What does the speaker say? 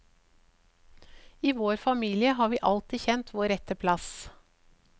I vår familie har vi alltid kjent vår rette plass.